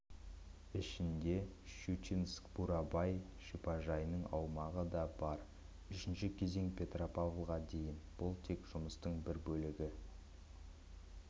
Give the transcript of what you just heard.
ішінде шучинск-бурабай шипажайының аумағы да бар үшінші кезең петропавлға дейін бұл тек жұмыстың бір бөлігі